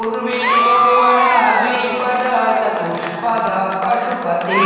उर्वि उर्वरा द्विपद चतुष्पद पशुपति